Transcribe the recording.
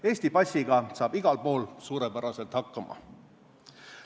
Eesti passiga saab igal pool suurepäraselt hakkama.